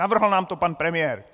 Navrhl nám to pan premiér!